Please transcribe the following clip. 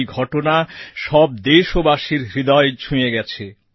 এই ঘটনা সব ভারতীয়র হৃদয় ছুঁয়ে গেছে